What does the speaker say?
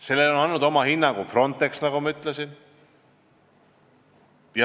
Tehtule on andnud oma hinnangu Frontex, nagu ma ütlesin.